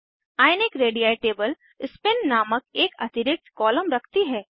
ionic ready table spin नामक एक अतिरिक्त कॉलम रखती है